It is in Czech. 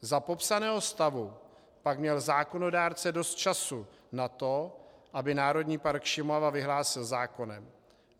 Za popsaného stavu pak měl zákonodárce dost času na to, aby Národní park Šumava vyhlásil zákonem.